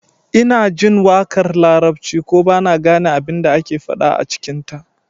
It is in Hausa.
Ina jin waƙar larabci ko ba na gane abin da ake faɗa a cikinta